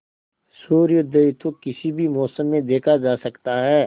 सूर्योदय तो किसी भी मौसम में देखा जा सकता है